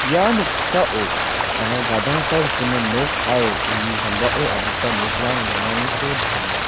ia noksao anga gadangsa rikgimin nok aro uni sambao adita nokrang donganiko nikenga.